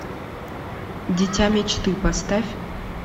дитя мечты поставь